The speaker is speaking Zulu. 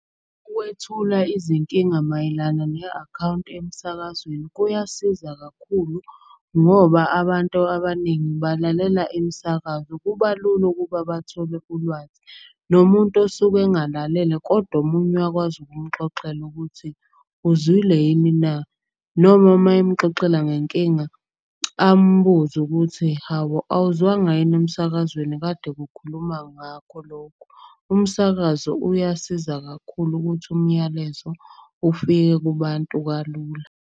Ukwethula izinkinga mayelana ne-akhawunti emsakazweni kuyasiza kakhulu. Ngoba abantu abaningi balalela imisakazo, kuba lula ukuba bathole ulwazi. Nomuntu osuke engalalele kodwa omunye uyakwazi ukumxoxela ukuthi, uzwile yini na. Noma mayemxoxela ngenkinga ambuze ukuthi hhawu awuzwanga yini emsakazweni kade kukhuluma ngakho lokho. Umsakazo uyasiza kakhulu ukuthi umyalezo ufike kubantu kalula.